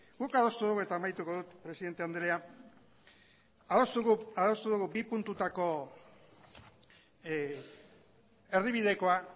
guk adostu dugu eta amaituko dut presidente andrea bi puntutako erdibidekoa